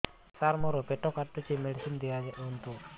ସାର ମୋର ପେଟ କାଟୁଚି ମେଡିସିନ ଦିଆଉନ୍ତୁ